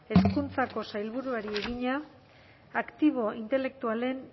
hezkuntzako sailburuari egina aktibo intelektualen